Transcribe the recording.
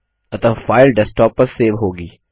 अतः file desktop पर save होगी